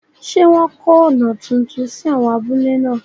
Ṣé wọ́n kọ́ ọ̀nà tuntun sí áwọn abúlé náà?